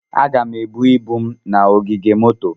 Aga m ebu ibu m na ogige moto.